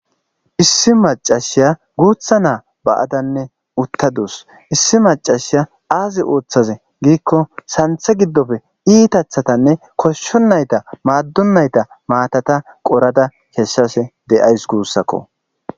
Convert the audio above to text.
issi macashiya guutha naa ba7adanne uttadus issi macashiya aazi ooththaze giikko santhe giddofe iitathatanne koshsho nayta maaddunayta maatata qorada keshshase de7ays guussakko